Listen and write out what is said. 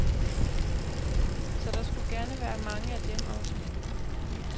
Så der skulle gerne være mange af dem også.